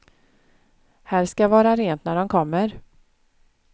Här skall vara rent när de kommer.